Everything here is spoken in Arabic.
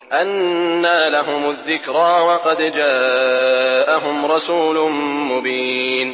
أَنَّىٰ لَهُمُ الذِّكْرَىٰ وَقَدْ جَاءَهُمْ رَسُولٌ مُّبِينٌ